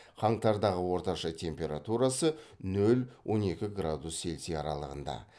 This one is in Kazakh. қаңтардағы орташа температурасы нөл он екі градус цельсия аралығында